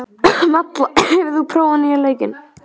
Malla, hefur þú prófað nýja leikinn?